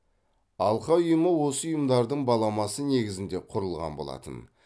алқа ұйымы осы ұйымдардың баламасы негізінде құрылған болатын